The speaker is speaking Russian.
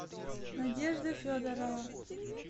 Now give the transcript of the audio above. надежда федорова